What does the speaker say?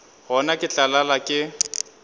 gona ke tla lala ke